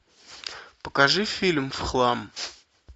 покажи фильм в хлам